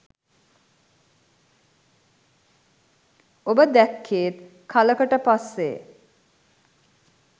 උඹ දැක්කෙත් කලකට පස්සෙ